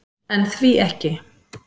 En því ekki?